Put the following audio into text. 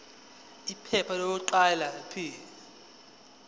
iphepha lokuqala p